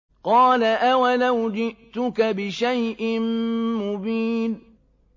قَالَ أَوَلَوْ جِئْتُكَ بِشَيْءٍ مُّبِينٍ